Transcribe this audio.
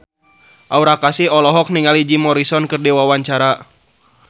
Aura Kasih olohok ningali Jim Morrison keur diwawancara